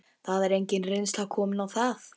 Það er engin reynsla komin á það.